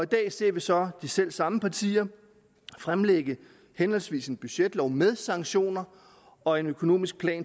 dag ser vi så de selv samme partier fremlægge henholdsvis en budgetlov med sanktioner og en økonomisk plan